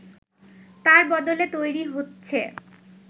তার বদলে তৈরি হচ্ছে